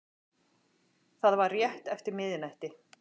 Það var rétt eftir miðnætti